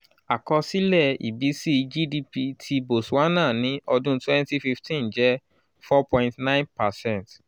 àkọsílẹ̀ ìbísí gdp ti botswana ní ọdún 2015 jẹ́ 4.9 percent: